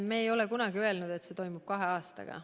Me ei ole kunagi öelnud, et see toimub kahe aastaga.